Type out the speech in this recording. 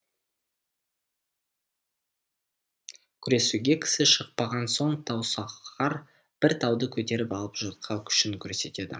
күресуге кісі шықпаған соң таусоғар бір тауды көтеріп алып жұртқа күшін көрсетеді